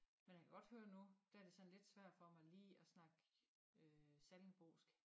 Men jeg kan godt høre nu der er det sådan lidt svært for mig lige at snakke øh sallingbosk